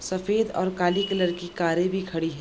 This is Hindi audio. सफ़ेद और काली कलर की कारें भी खड़ी है।